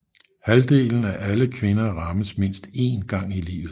Halvdelen af alle kvinder rammes mindst én gang i livet